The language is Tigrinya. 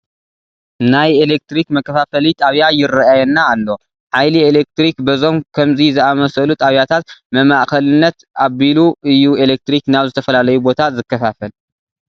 ናይ ኤለክትሪክ መከፋፈሊ ጣብያ ይርአየና ኣሎ፡፡ ሃይሊ ኤለክትሪክ በዞም ከምዚ ዝኣምሰሉ ጣብያታት መማእኸልነት ኣቢሉ እዩ ኤለክትሪክ ናብ ዝተፈላለዩ ቦታ ዝከፋፈል፡፡